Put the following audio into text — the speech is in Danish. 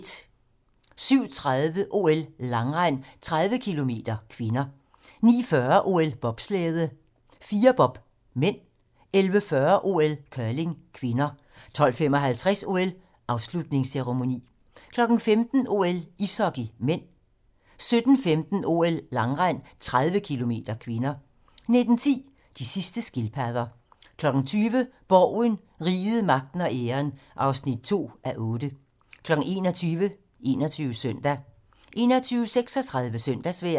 07:30: OL: Langrend - 30 km (k) 09:40: OL: Bobslæde - Firerbob (m) 11:40: OL: Curling (k) 12:55: OL: Afslutningsceremoni 15:00: OL: Ishockey (m) 17:15: OL: Langrend - 30 km (k) 19:10: De sidste skildpadder 20:00: Borgen - Riget, Magten og Æren (2:8) 21:00: 21 Søndag 21:36: Søndagsvejr